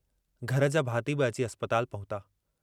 घर जा भाती बि अची अस्पताल पहुता।